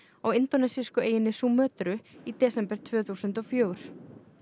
á indónesísku eyjunni í desember tvö þúsund og fjögur